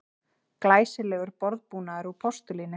Glæsilegur borðbúnaður úr postulíni